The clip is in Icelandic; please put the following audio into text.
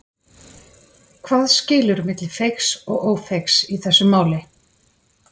Hvað skilur á milli feigs og ófeigs í þessu máli?